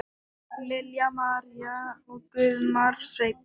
Lilja María og Guðmar Sveinn.